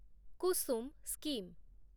Kusum scheme